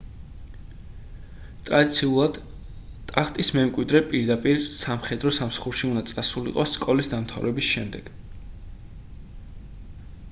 ტრადიციულად ტახტის მემკვიდრე პირდაპირ სამხედრო სამსახურში უნდა წასულიყო სკოლის დამთავრების შემდეგ